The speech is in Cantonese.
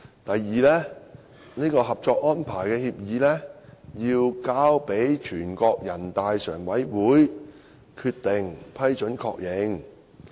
第二步，《合作安排》交由全國人民代表大會常務委員會通過決定予以批准及確認。